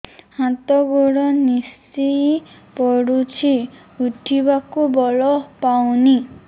ହାତ ଗୋଡ ନିସେଇ ପଡୁଛି ଉଠିବାକୁ ବଳ ପାଉନି